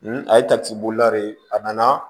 a ye de ye a nana